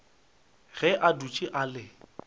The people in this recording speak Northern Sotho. ge a dutše a le